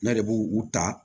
Ne de b'u u ta